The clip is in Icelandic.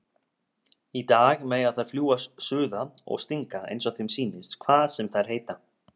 Í dag mega þær fljúga suða og stinga einsog þeim sýnist hvað sem þær heita.